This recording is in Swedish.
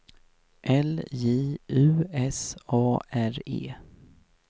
L J U S A R E